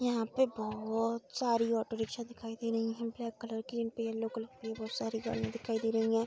यहाँ पे बहोत सारी ऑटो रिक्शा दिखाई दे रही हैं ब्लैक कलर की जिनपे येलो कलर की बहोत सारी गाड़ियां दिखाई दे रही हैं।